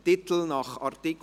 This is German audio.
Titel nach Art.